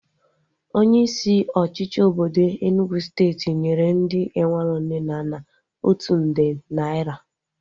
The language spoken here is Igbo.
Onye isi ọchịchị obodo Enugwu steeti nyere ndị enwero nne na nna otu nde naira